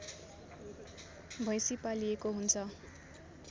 भैँसी पालिएको हुन्छ